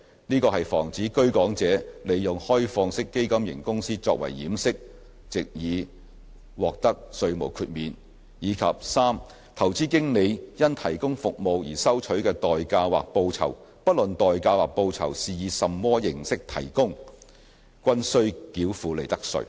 這是防止居港者利用開放式基金型公司作為掩飾，藉以獲得稅項豁免；及 c 投資經理因提供服務而收取的代價或報酬，不論是以甚麼形式提供，均須繳付利得稅。